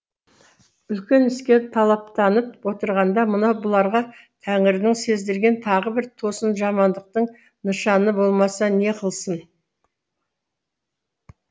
үлкен іске талаптанып отырғанда мынау бұларға тәңірінің сездірген тағы бір тосын жамандықтың нышаны болмаса не қылсын